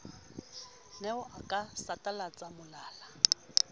ne o ka satalatsa molala